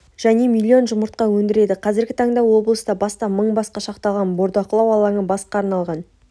және млн жұмыртқа өндіреді қазіргі таңда облыста бастан мың басқа шақталған бордақылау алаңы басқа арналған